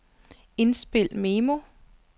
indspil memo